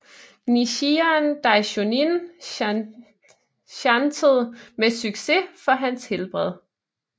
Nichiren Daishonin chantede med succes for hans helbred